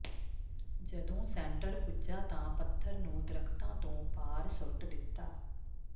ਜਦੋਂ ਸੈਂਟਰ ਪੁੱਜਾ ਤਾਂ ਪੱਥਰ ਨੂੰ ਦਰਖ਼ਤਾਂ ਤੋਂ ਪਾਰ ਸੁੱਟ ਦਿੱਤਾ